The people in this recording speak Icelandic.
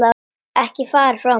Ekki fara frá mér!